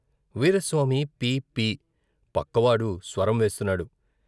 వీరాస్వామి " పీ పీ ".పక్కవాడు స్వరం వేస్తున్నాడు.